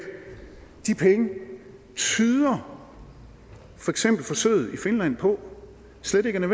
de penge tyder forsøget i finland på slet ikke er